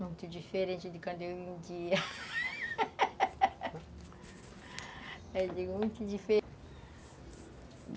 Muito diferente de quando eu vendia eu digo, hum que dife